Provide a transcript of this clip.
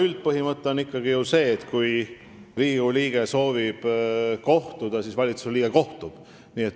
Üldpõhimõte on ikkagi ju see, et kui Riigikogu liige soovib kohtuda, siis valitsusliige temaga kohtub.